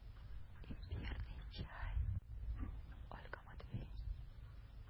имбирный чай ольга матвей